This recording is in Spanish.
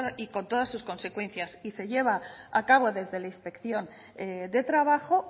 y con todas sus consecuencias y se lleva a cabo desde la inspección de trabajo